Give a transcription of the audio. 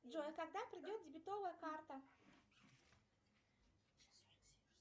джой а когда придет дебетовая карта